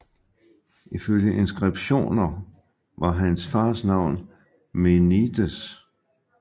Ifølge inskriptioner var hans fars navn Menides